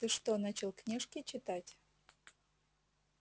ты что начал книжки читать